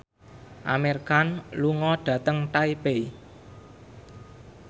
Amir Khan lunga dhateng Taipei